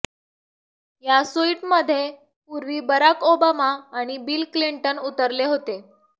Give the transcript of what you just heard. या सुइटमध्ये पूर्वी बराक ओबामा आणि बिल क्लिंटन उतरले होते